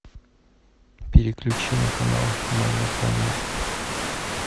переключи на канал моя планета